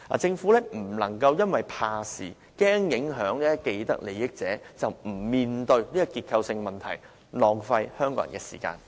政府不能因為怕事，害怕影響既得利益者而不面對這個結構性問題，浪費香港人的時間。